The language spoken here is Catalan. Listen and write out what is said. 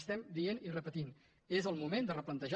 estem dient i repetint és el moment de replantejar